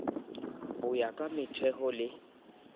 ho ya ka metheo le